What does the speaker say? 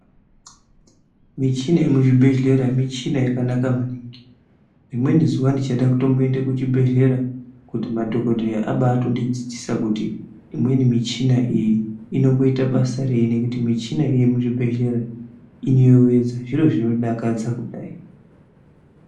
Michina yemuzvibhedhlera muchina yakanaka maningi rimweni zuwa ndichade Kutomboende kuchibhedhlera kuti madhokodheya abatondidzidzisa kuti imweni michina iyi inomboita basa rei nekuti imweni muchina iyi Muzvibhedhlera inoyevedza zviro zvinodakadza kudai.